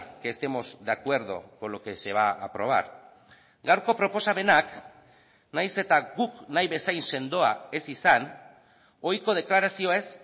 que estemos de acuerdo con lo que se va a aprobar gaurko proposamenak nahiz eta guk nahi bezain sendoa ez izan ohiko deklarazioez